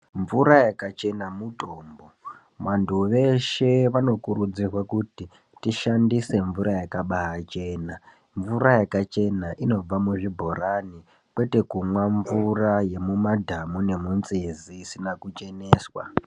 Mvura yakachena mutombo. Vantu veshe vanokurudzirwa kuti tishandise mvura yakabaachena. Mvura yakachena inobva muzvibhorani ,kwete kumwa mvura yemumadhamu nemunzizi isina kucheneswa.